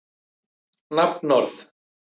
Hvaðan hafði ræðismaðurinn þessi tíðindi?